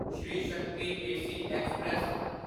Shri Shakti AC express